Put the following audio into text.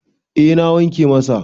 eh na wanke masa